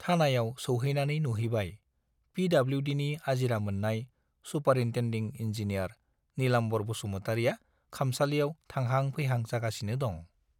थानायाव सौहैनानै नुहैबाय - पिडब्लिउडिनि आजिरा मोन्नाय सुपारिन्टेन्डिं इन्जिनियार नीलाम्बर बसुमतारीया खामसालियाव थांहा-फैहां जागासिनो दं।